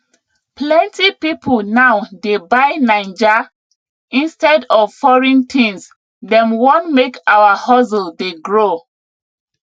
plenty pipo now dey buy naija instead of foreign things dem wan make our hustle dey grow